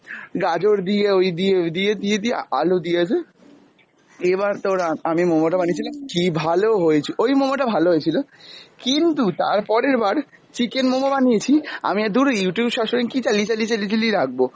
গাজর দিয়ে ওই দিয়ে, ওই দিয়ে দিয়ে দিয়ে আলু দিয়েছে, এবার তোর আ~ আমি মোমোটা বানিয়েছিলাম কী ভালো হয়েছে, ওই মোমোটা ভালো হয়েছিল, কিন্তু তার পরের বার chicken মোমো বানিয়েছি, আমি আর ধুর Youtube সবসময় কী চালিয়ে চালিয়ে, চালিয়ে চালিয়ে রাখব,